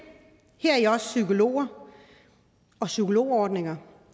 heri også psykologer og psykologordninger